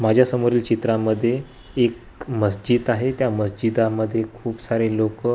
माझ्या समोरील चित्रांमध्ये एक मज्जिद आहे. त्या मज्जिदामध्ये खूप सारे लोकं--